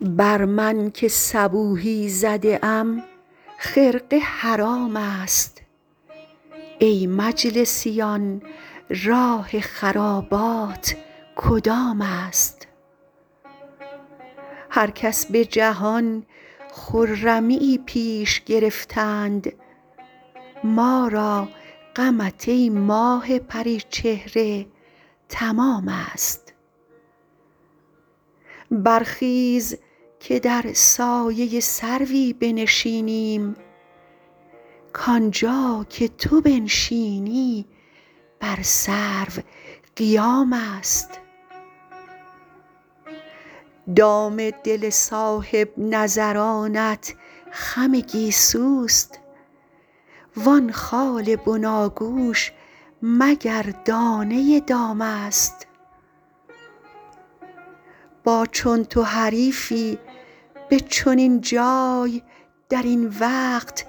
بر من که صبوحی زده ام خرقه حرام است ای مجلسیان راه خرابات کدام است هر کس به جهان خرمیی پیش گرفتند ما را غمت ای ماه پری چهره تمام است برخیز که در سایه سروی بنشینیم کانجا که تو بنشینی بر سرو قیام است دام دل صاحب نظرانت خم گیسوست وان خال بناگوش مگر دانه دام است با چون تو حریفی به چنین جای در این وقت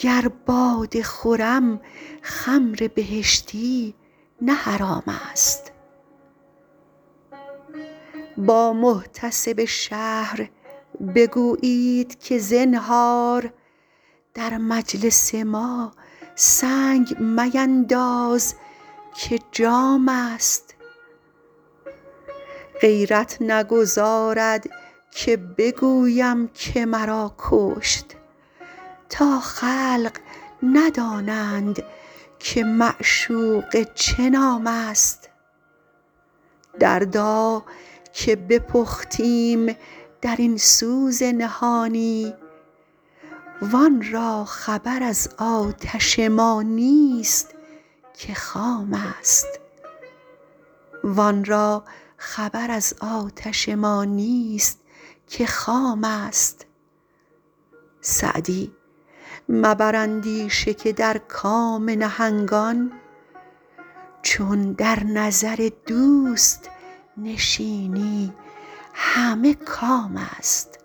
گر باده خورم خمر بهشتی نه حرام است با محتسب شهر بگویید که زنهار در مجلس ما سنگ مینداز که جام است غیرت نگذارد که بگویم که مرا کشت تا خلق ندانند که معشوقه چه نام است دردا که بپختیم در این سوز نهانی وان را خبر از آتش ما نیست که خام است سعدی مبر اندیشه که در کام نهنگان چون در نظر دوست نشینی همه کام است